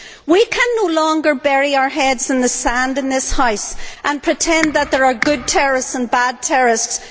We can no longer bury our heads in the sand in this House and pretend that there are good terrorists and bad terrorists.